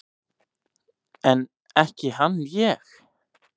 En ekki hann ég!